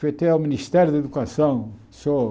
Foi até o Ministério da Educação, o Seu